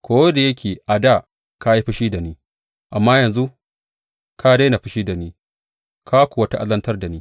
Ko da yake a dā ka yi fushi da ni, amma yanzu ka daina fushi da ni ka kuwa ta’azantar da ni.